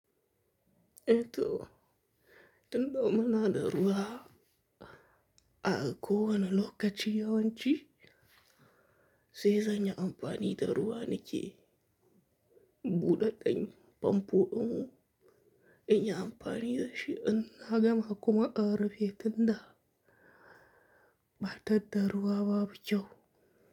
E to, tun dau muna da ruwa a kowane lokaci yawanci sai zan yi amfani da ruwa ni ke buɗe ɗan famfo, in yi amfani da shi in na gama kuma a rufe tun da ba ta da ruwa ba, ba kyau.